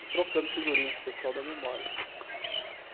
E trocando figurinha com o pessoal da memória.